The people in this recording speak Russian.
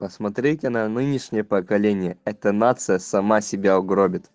посмотрите на нынешнее поколение это нация сама себя угробит